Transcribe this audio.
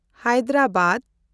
Hyderabad